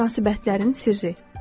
Münasibətlərin sirri.